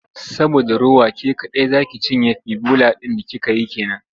Saboda rowa ke kaɗai za ci cinye fbiloba ɗin da kika yi ke nan.